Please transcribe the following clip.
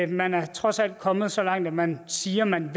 man er trods alt kommet så langt at man siger at man